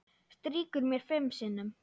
Strýkur mér fimm sinnum.